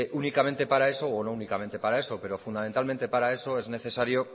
únicamente para eso o no únicamente para eso pero fundamentalmente para eso es necesario